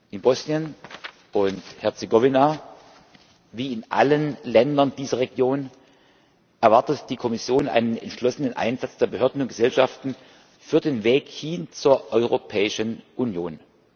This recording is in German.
In Bosnien und Herzegowina wie in allen Ländern dieser Region erwartet die Kommission einen entschlossenen Einsatz der Behörden und Gesellschaften für den Weg hin zur Europäischen Union.